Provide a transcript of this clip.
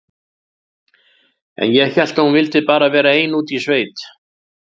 En ég hélt að hún vildi bara vera ein úti í sveit.